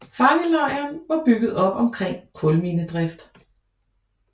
Fangelejren var bygget op omkring kulminedrift